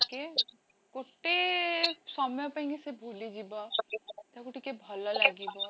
ଟିକେ, ଗୋଟେ ସମୟ ପାଇଁକି ସେ ଭୁଲିଯିବ ତାକୁ ଟିକେ ଭଲ ଲାଗିବ